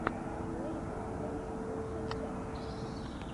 лэйбл ком лучшая часть